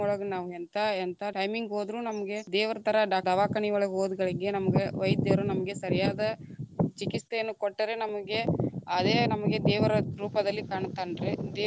ಒಳಗ ನಾವ್ ಎಂತಾ ಎಂತಾ timing ಹೋದ್ರು ನಮಗೆ ದೇವರ ಥರಾ ಡ~ ದವಾಕನಿ ಒಳಗ ಹೋದ ಗಳಿಗೆ ನಮಗ ವೈದ್ಯರು ನಮಗೆ ಸರಿಯಾದ ಚಿಕಿತ್ಸೆಯನ್ನು ಕೊಟ್ಟರೆ ನಮಗೆ ಅದೇ ನಮಗೆ ದೇವರ ರೂಪದಲ್ಲಿ ಕಾಣುತ್ತಾನ್ರೀ.